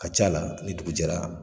Ka c'a la ni dugu jɛra